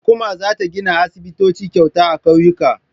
Hukuma za ta gina aisibitoci kyauta a ƙauyuka.